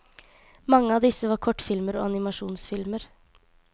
Mange av disse var kortfilmer og animasjonsfilmer.